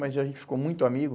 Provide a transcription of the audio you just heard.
Mas a gente ficou muito amigo.